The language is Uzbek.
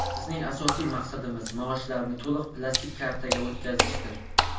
Bizning asosiy maqsadimiz – maoshlarni to‘liq plastik kartaga o‘tkazishdir.